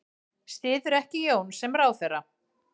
Styður ekki Jón sem ráðherra